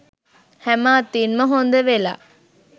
හැම අතින්ම හොඳ වෙලා